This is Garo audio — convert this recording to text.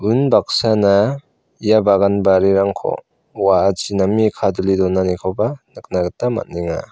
unbaksana ia bagan barirangko wa·achi name kadule donanikoba nikna gita man·enga.